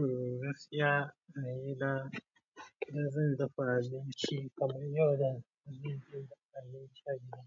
Eh gaskiya, a gida bazan dafa abinci ba kamar yadda zan fi dafa abinci a gida.